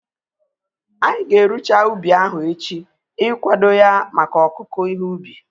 Anyị ga-erucha ubi ahu echi ikwado ya maka ọkụku ihe ubi